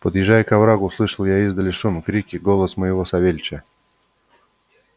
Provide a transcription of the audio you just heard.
подъезжая к оврагу услышал я издали шум крики и голос моего савельича